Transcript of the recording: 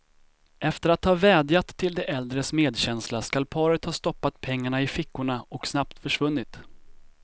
Efter att ha vädjat till de äldres medkänsla skall paret ha stoppat pengarna i fickorna och snabbt försvunnit.